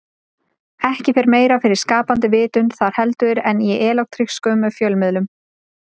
Ekki fer meira fyrir skapandi vitund þar heldur en í elektrónískum fjölmiðlum.